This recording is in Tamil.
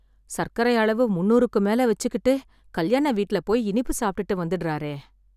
சர்க்கரை அளவு முந்நூறுக்கு மேல வெச்சுக்கிட்டு, கல்யாண வீட்ல போய் இனிப்பு சாப்ட்டுட்டு வந்துடுறாரே...